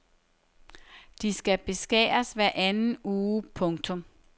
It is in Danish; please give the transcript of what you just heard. De skal beskæres hver anden uge. punktum